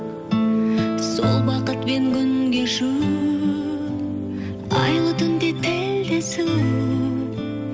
сол бақытпен күн кешу айлы түнде тілдесу